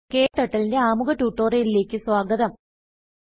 KTurtleന്റെ ആമുഖ ട്യൂട്ടോറിയലിലേക്ക് സ്വാഗതം